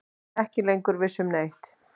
Ekki lengur viss um neitt.